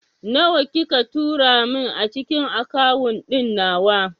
Nawa kika tura min a cikin akawun ɗin nawa?